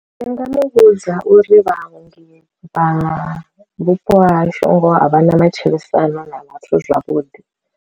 Ndi nga muvhudza uri vhaongi vha vhupo ha hashu ngoho a vhana matshilisano na vhathu zwavhuḓi.